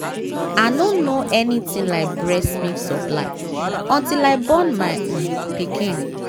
i nor know anything like breast milk supply until i born my um pikin